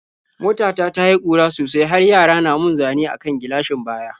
Mota ta ta yi ƙura sosai har yara na mun zane a kan gilashin baya.